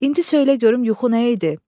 İndi söylə görüm yuxu nə idi?